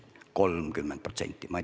30%!